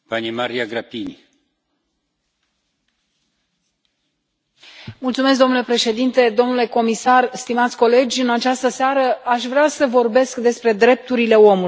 Domnule președinte, domnule comisar, stimați colegi, în această seară aș vrea să vorbesc despre drepturile omului, drepturile omului într o țară membră a Uniunii Europene.